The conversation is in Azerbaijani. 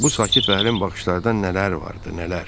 Bu sakit və dərin baxışlarda nələr vardı, nələr.